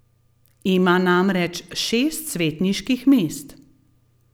Ima namreč šest svetniških mest.